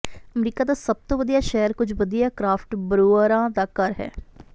America ਦਾ ਸਭ ਤੋਂ ਵਧੀਆ ਸ਼ਹਿਰ ਕੁਝ ਵਧੀਆ ਕ੍ਰਾਫਟ ਬਰੂਅਰਾਂ ਦਾ ਘਰ ਹੈ